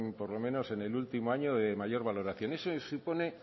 por lo menos en el último año de mayor valoración eso supone